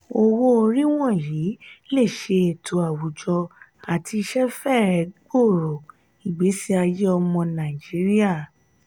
owó-orí wọnyi le ṣe ètò àwujọ àti iṣẹ fẹ̀ẹ́ gbòro igbesiaye ọmọ nàìjíríà.